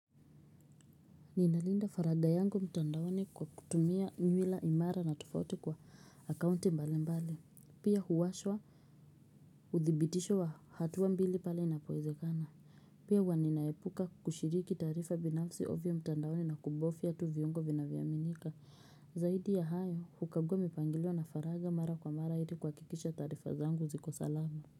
Ninalinda faragha yangu mtandaoni kwa kutumia nywila imara na tuofauti kwa akaunti mbalimbali. Pia huwashwa uthibitisho wa hatua mbili pale inapowezekana. Pia huwa ninaepuka kushiriki taarifa binafsi ovyo mtandaoni na kubofya tu viungo vinavyoaminika. Zaidi ya hayo, hukagua mipangilio na faragha mara kwa mara ili kuhakikisha taarifa zangu ziko salama.